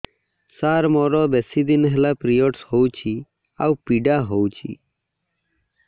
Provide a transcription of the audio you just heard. ସାର ମୋର ବେଶୀ ଦିନ ପିରୀଅଡ଼ସ ହଉଚି ଆଉ ପୀଡା ହଉଚି